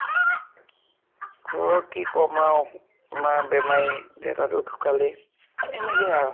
ঘৰ ৰ কি কম আৰু । মা বেমাৰী, দেতা তো আৰু ঢোকালেই । এই এনেকেই আৰু